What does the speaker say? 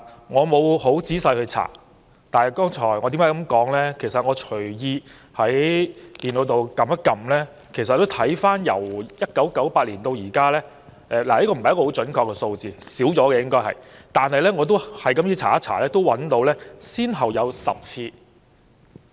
我沒有仔細查證，但在互聯網隨便搜尋一下，就得出由1998年至今，先後有10次——這並非準確數字，實際次數應更多——"不信任"議案在議會上提出。